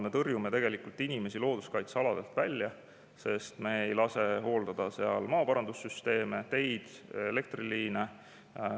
Me tõrjume tegelikult inimesi looduskaitsealadelt välja, sest me ei lase hooldada seal maaparandussüsteeme, teid, elektriliine.